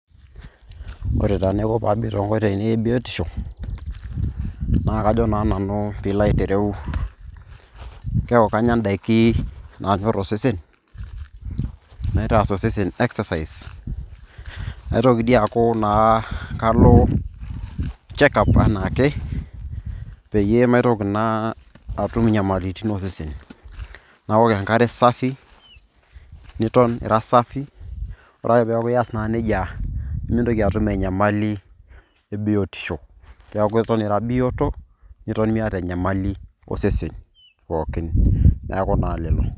Ore tenaa enaiko paabik tonkoitoii ainei ebiotisho, na kajo naa nanu pilo aitereu, keeku kanya idaiki nanyor osesen. Naitaas osesen exercise. Naitoki dii aku naa kalo [check up enaake, peyie maitoki naa atum inyamalitin osesen. Naok enkare safi, niton ira safi, ore ake peeku iyas naa nejia nimintoki atum enyamali ebiotisho. Keek eton ira bioto, niton miata enyamali osesen pookin. Neeku na lelo.